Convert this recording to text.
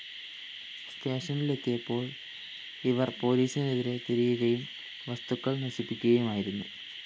സ്റ്റേഷനില്‍ എത്തിയപ്പോള്‍ ഇവര്‍ പോലീസിനെതിരെ തിരിയുകയും വസ്തുക്കള്‍ നശിപ്പിക്കുകയുമായിരുന്നു